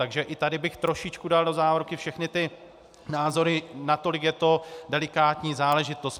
Takže i tady bych trošičku dal do závorky všechny ty názory, nakolik je to delikátní záležitost.